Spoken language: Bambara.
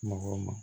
Mɔgɔw ma